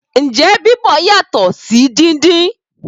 Ǹjẹ́ Bíbọ̀ yàtọ̀ sí dídín?